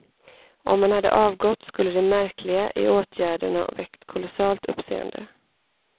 Om han hade avgått skulle det märkliga i åtgärden ha väckt kolossalt uppseende.